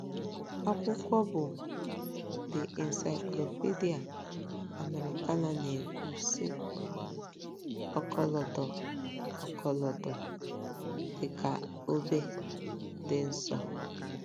Akwụkwọ bụ́ The Encyclopedia Americana na-ekwu, sị: “ Ọkọlọtọ: “ Ọkọlọtọ, dị ka obe, dị nsọ .”